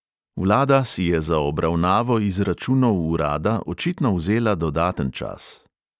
Vlada si je za obravnavo izračunov urada očitno vzela dodaten čas.